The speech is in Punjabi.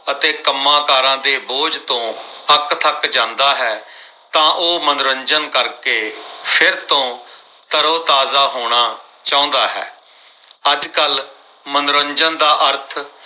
ਅਤੇ ਕੰਮਕਾਰਾਂ ਦੇ ਬੋਝ ਤੋਂ ਅੱਕਥੱਕ ਜਾਂਦਾ ਹੈ। ਤਾਂ ਉਹ ਮਨੋਰੰਜਨ ਕਰ ਕੇ ਫਿਰ ਤੋਂ ਤਰੋ-ਤਾਜ਼ਾ ਹੋਣਾ ਚਾਹੁੰਦਾ ਹੈ ਅੱਜਕੱਲ ਮਨੋਰੰਜਨ ਦਾ ਅਰਥ